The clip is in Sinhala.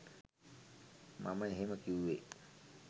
මම එහෙම කිවුවේ